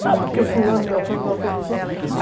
Não, porque fulano beltrano me autorizou.